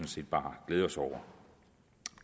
set bare glæde os over